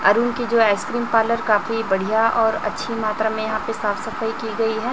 अरुण की जो ice cream parlour काफी बढ़िया और अच्छी मात्रा में यहां पे साफ सफाई की गई है।